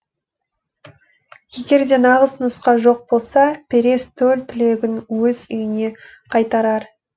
егер де нағыз нұсқа жоқ болса перес төл түлегін өз үйіне қайтарар